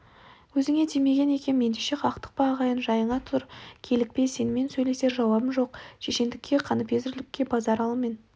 өзіңе тимеген екем ендеше қактықпа ағайын жайыңа тұр килікпе сенімен сөйлесер жауабым жоқ шешендікке қаныпезерлікке базаралымен